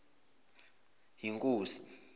yinkosi